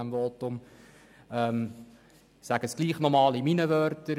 Ich sage es trotzdem noch einmal mit meinen Worten.